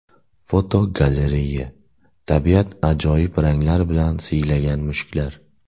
Fotogalereya: Tabiat ajoyib ranglar bilan siylagan mushuklar.